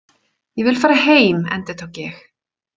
Ég vil fara heim, endurtók ég.